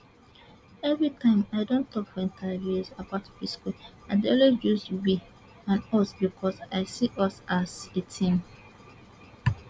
every time i don tok for interviews about psquare i dey always use we and us becos i see us as a team